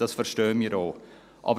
Das verstehen wir auch.